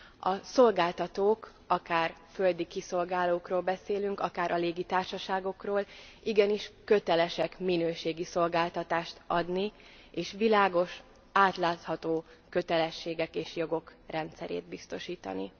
A szolgáltatók, akár földi kiszolgálókról beszélünk, akár a légitársaságokról, igenis kötelesek minőségi szolgáltatást adni, és világos, átlátható kötelességek és jogok rendszerét biztosítani.